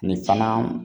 Nin fana